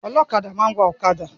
Ọlọ́kadà máa ń wà ọ̀kadà.